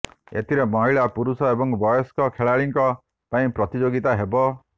ଏଥିରେ ମହିଳା ପୁରୁଷ ଏବଂ ବୟସ୍କ ଖେଳାଳିଙ୍କ ପାଇଁ ପ୍ରତିଯୋଗିତା ହେବ